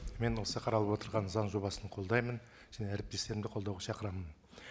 мен осы қаралып отырған заң жобасын қолдаймын және әріптестерімді қолдауға шақырамын